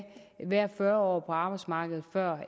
være fyrre år på arbejdsmarkedet før